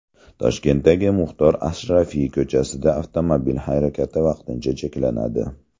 Toshkentdagi Muxtor Ashrafiy ko‘chasida avtomobil harakati vaqtincha cheklanadi.